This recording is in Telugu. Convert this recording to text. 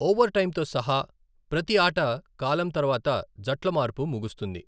ఓవర్టైంతో సహా, ప్రతి ఆట కాలం తర్వాత జట్ల మార్పు ముగుస్తుంది.